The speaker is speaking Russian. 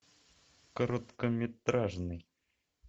короткометражный